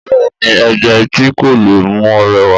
Bẹ́ẹ̀ni ègbà etí kọ́ ló mú ọ rẹwà